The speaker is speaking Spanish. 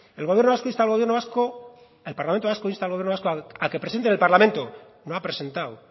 el parlamento vasco insta al gobierno vasco a que presente en el parlamento no ha presentado